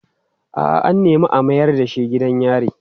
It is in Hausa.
A'a, an nemi a mayar da shi gidan yari.